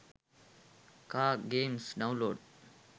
car games download